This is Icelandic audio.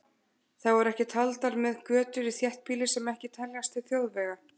Þá eru ekki taldar með götur í þéttbýli sem ekki teljast til þjóðvega.